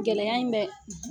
Gɛlɛya in bɛ